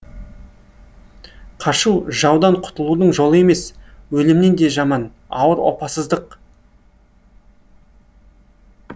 қашу жаудан құтылудың жолы емес өлімнен де жаман ауыр опасыздық